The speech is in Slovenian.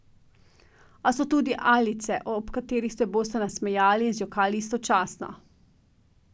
A so tudi alice, ob katerih se boste nasmejali in zjokali istočasno.